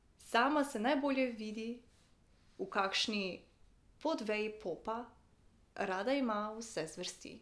Sama se najbolje vidi v kakšni podveji popa, rada pa ima vse zvrsti.